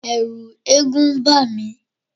Ẹ̀ẹ̀rù eégún ń bà mí.